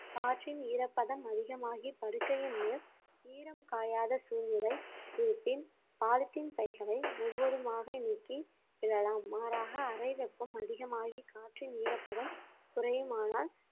காற்றின் ஈரப்பதம் அதிகமாகி படுக்கையின் மேல் ஈரம் காயாத சூழ்நிலை இருப்பின் பாலித்தீன் பைகளை முழுவதுமாக நீக்கி விடலாம் மாறாக அறை வெப்பம் அதிகமாகி காற்றின் ஈரப்பதம் குறையுமானால்